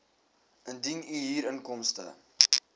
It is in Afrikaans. indien u huurinkomste